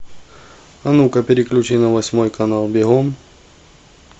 ну ка переключи на восьмой канал бегом